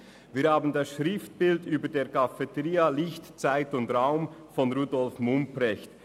Wir haben über der Cafeteria das Schriftbild «Licht, Zeit und Raum» von Rudolf Mumprecht.